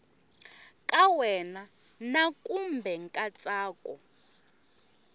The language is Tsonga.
ka wena na kumbe nkatsako